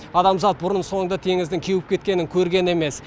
адамзат бұрын соңды теңіздің кеуіп кетуін көрген емес